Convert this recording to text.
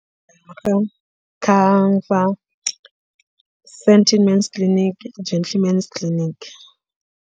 centre men's clinic gentle men's clinic.